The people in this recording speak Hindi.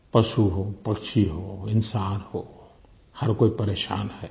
पशु हो पक्षी हो इंसान हो हर कोई परेशान है